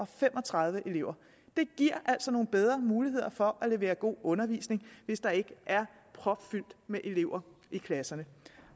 fem og tredive elever det giver altså nogle bedre muligheder for kan levere god undervisning hvis der ikke er propfyldt med elever i klasserne